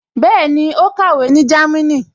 Bẹ́ẹ̀ni, ó kàwé ní Jámínì